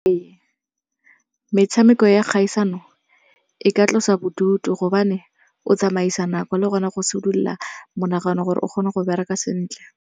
Metshameko ya kgaisano e ka tlosa bodutu hobane o tsamaisa nako le gona go sedulola monagano gore o kgone go bereka sentle.